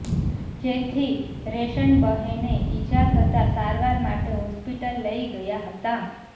જેથી રેશનબહેને ઇજા થતા સારવાર માટે હોસ્પિટલ લઇ ગયા હતાં